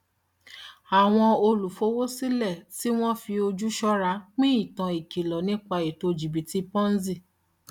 àwọn olùfowósílẹ tí wọn fi ojú ṣọra pín ìtàn ìkìlọ nípa ètò jìbítì ponzi